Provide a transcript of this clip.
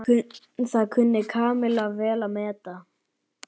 Það kunni Kamilla vel að meta.